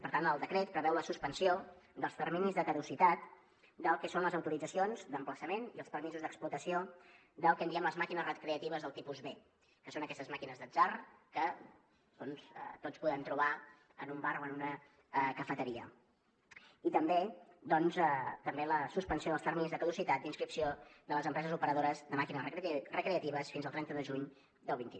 per tant el decret preveu la suspensió dels terminis de caducitat del que són les autoritzacions d’emplaçament i els permisos d’explotació del que en diem les màquines recreatives del tipus b que són aquestes màquines d’atzar que doncs tots podem trobar en un bar o en una cafeteria i també doncs la suspensió dels terminis de caducitat d’inscripció de les empreses operadores de màquines recreatives fins al trenta de juny del vint un